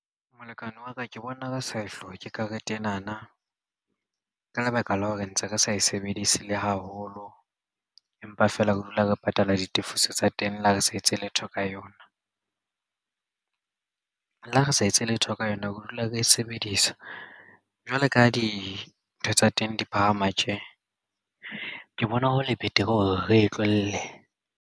Molekane wa ka ke bona re sa e hloke karete ena na ka lebaka la hore ntse re sa e sebedise le haholo empa fela re dula re patala ditefiso tsa teng le ha re sa etse letho ka yona. Le ha re sa etse letho ka yona ke dula ke e sebedisa jwalo ka dintho tsa teng di phahama tje ke bona hole betere hore re e tlohele.